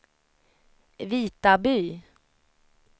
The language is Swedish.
Vitaby